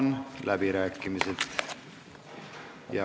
Avan läbirääkimised.